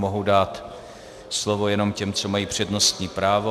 Mohu dát slovo jenom těm, co mají přednostní právo.